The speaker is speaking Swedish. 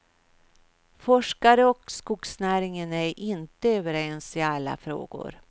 Forskare och skogsnäringen är inte överens i alla frågor.